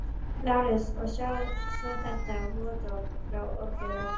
LÁRUS: Og sjáið svo þetta vottorð frá Oddi lækni.